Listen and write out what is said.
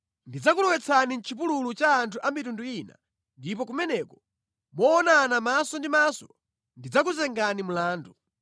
Ndidzakulowetsani mʼchipululu cha anthu a mitundu ina ndipo kumeneko, moonana maso ndi maso, ndidzakuzengani mlandu.